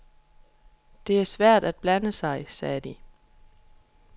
Det er svært at blande sig, sagde de.